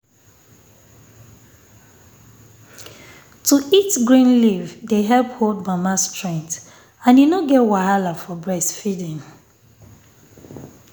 to eat green leaf dey help hold mama strength and e no get wahala for breastfeeding